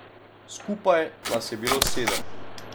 Skupaj nas je bilo sedem.